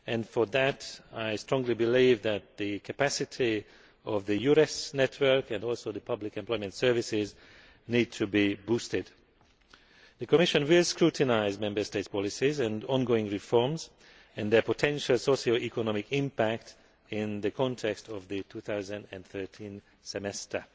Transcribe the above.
For that I strongly believe that the capacity of the EURES network and of public employment services needs to be boosted. The Commission will scrutinise Member States' policies and ongoing reforms, as well as their potential socioeconomic impact in the context of the 2013 Semester.